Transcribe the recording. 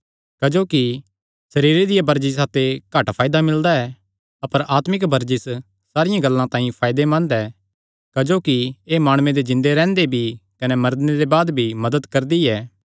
क्जोकि सरीरे दिया वरजिसा ते घट फायदा मिलदा ऐ अपर आत्मिक वरजिस सारियां गल्लां तांई फायदेमंद ऐ क्जोकि एह़ माणुये दे जिन्दे रैंह्दे भी कने मरने दे बाद भी मदत करदी ऐ